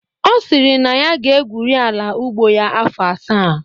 Ọ sịrị na ya ga-egwuri ala ugbo ya afọ asaa